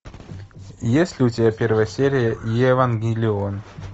есть ли у тебя первая серия евангелион